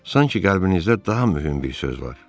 Sanki qəlbinizdə daha mühüm bir söz var.